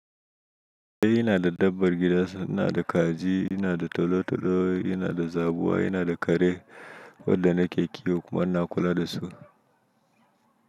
Eh ina da dabbar gida, ina da kaji, ina da tolo-tolo, ina da zabuwa, ina da kare, waɗanda na ƙeƙe kuma ina kula da su.